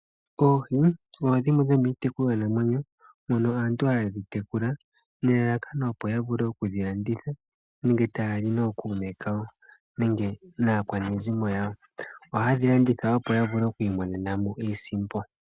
Oohi odho dhimwe dhomiitekulwa namwenyo mono aantu haye dhi tekula nelalakano opo yavule okudhilanditha nenge tayali nookuume kawo nenge naakwanezi yawo. Oha yedhilanditha opo yavule okwiimonenamo iisimpo.